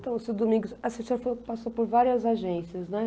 Então, seu Domingos, a você tinha feito, passou por várias agências, né?